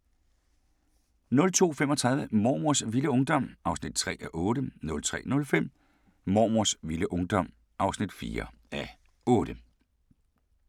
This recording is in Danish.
02:35: Mormors vilde ungdom (3:8) 03:05: Mormors vilde ungdom (4:8)